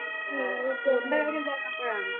ആഹ് tour ന്റെ കാര്യം എന്താണ് എപ്പോഴാണ്‌?